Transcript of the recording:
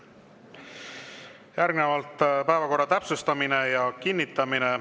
Järgnevalt päevakorra täpsustamine ja kinnitamine.